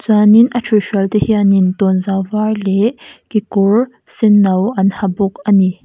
chuanin a thuihhrual te hianin tawnzau var leh kekawr senno an ha bawk ani.